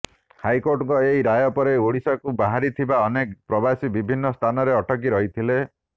ହାଇକୋର୍ଟଙ୍କ ଏହି ରାୟ ପରେ ଓଡିଶାକୁ ବାହାରିଥିବା ଅନେକ ପ୍ରବାସୀ ବିଭିନ୍ନ ସ୍ଥାନରେ ଅଟକି ରହିଥିଲେ